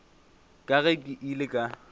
ka ge ke ile ka